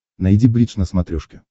найди бридж на смотрешке